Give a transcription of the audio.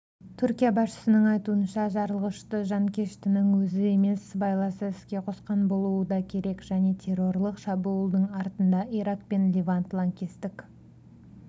түркия басшысының айтуынша жарылғышты жанкештінің өзі емес сыбайласы іске қосқан болуы да керек және террорлық шабуылдың артында ирак пен левант лаңкестік